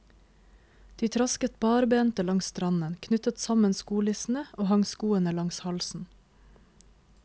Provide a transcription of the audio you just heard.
De trasket barbente langs stranden, knyttet sammen skolissene og hang skoene langs halsen.